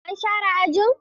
An share ajin?